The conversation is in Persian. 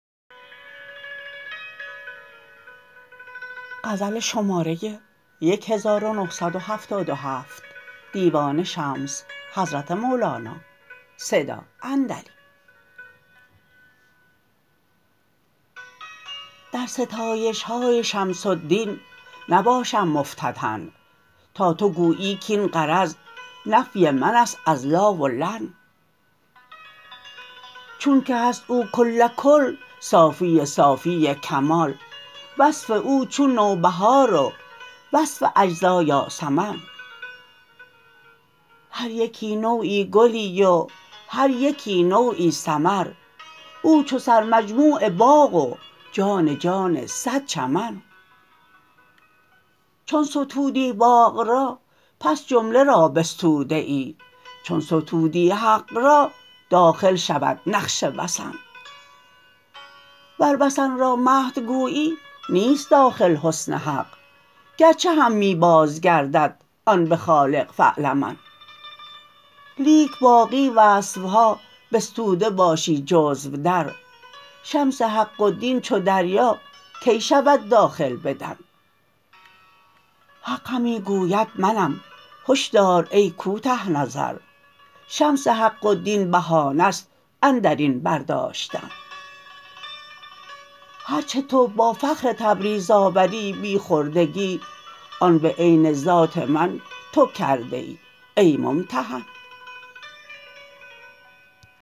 در ستایش های شمس الدین نباشم مفتتن تا تو گویی کاین غرض نفی من است از لا و لن چونک هست او کل کل صافی صافی کمال وصف او چون نوبهار و وصف اجزا یاسمن هر یکی نوعی گلی و هر یکی نوعی ثمر او چو سرمجموع باغ و جان جان صد چمن چون ستودی باغ را پس جمله را بستوده ای چون ستودی حق را داخل شود نقش وثن ور وثن را مدح گویی نیست داخل حسن حق گرچه هم می بازگردد آن به خالق فاعلمن لیک باقی وصف ها بستوده باشی جزو در شمس حق و دین چو دریا کی شود داخل بدن حق همی گوید منم هش دار ای کوته نظر شمس حق و دین بهانه ست اندر این برداشتن هر چه تو با فخر تبریز آوری بی خردگی آن به عین ذات من تو کرده ای ای ممتحن